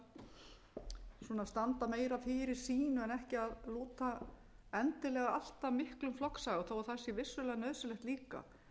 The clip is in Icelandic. til þess að standa meira fyrir sínu en ekki að lúta endilega alltaf miklum flokksaga þó það sé vissulega nauðsynlegt